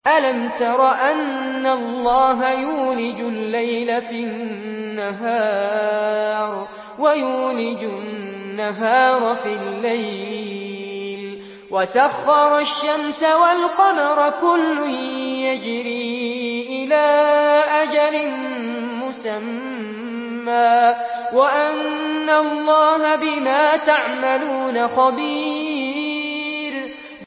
أَلَمْ تَرَ أَنَّ اللَّهَ يُولِجُ اللَّيْلَ فِي النَّهَارِ وَيُولِجُ النَّهَارَ فِي اللَّيْلِ وَسَخَّرَ الشَّمْسَ وَالْقَمَرَ كُلٌّ يَجْرِي إِلَىٰ أَجَلٍ مُّسَمًّى وَأَنَّ اللَّهَ بِمَا تَعْمَلُونَ خَبِيرٌ